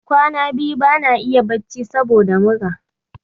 Kwana biyu bana iya bacci saboda mura.